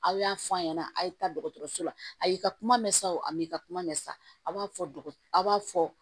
Aw y'a fɔ a ɲɛna a' ye taa dɔgɔtɔrɔso la a y'i ka kuma mɛn sa o m'i ka kuma mɛ sa a b'a fɔ a b'a fɔ